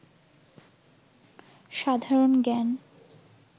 সাধারণ জ্ঞান